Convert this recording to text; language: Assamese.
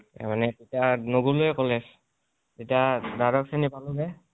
মানে তেতিয়াকলে তেতিয়া দ্বাদশ শ্ৰণী পালো নে